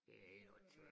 Det helt åndssvagt